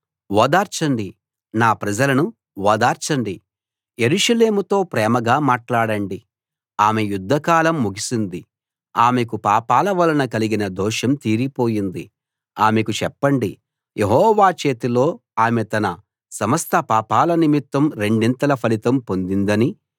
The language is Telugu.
ఓదార్చండి నా ప్రజలను ఓదార్చండి యెరూషలేముతో ప్రేమగా మాట్లాడండి ఆమె యుద్ధకాలం ముగిసింది ఆమెకు పాపాల వలన కలిగిన దోషం తీరిపోయింది ఆమెకు చెప్పండి యెహోవా చేతిలో ఆమె తన సమస్త పాపాల నిమిత్తం రెండింతల ఫలితం పొందిందని